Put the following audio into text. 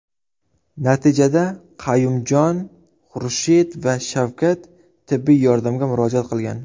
Natijada Qayumjon, Xurshid va Shavkat tibbiy yordamga murojaat qilgan.